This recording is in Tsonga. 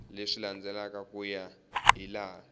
leswi landzelaka ku ya hilaha